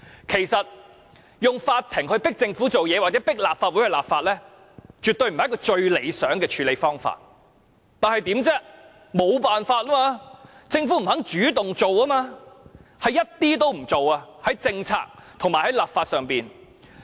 其實，以法庭裁決迫使政府做事或迫立法會立法，絕非最理想的處理方法，但我們沒有辦法，就是由於政府完全不願意主動進行有關的政策和立法工作。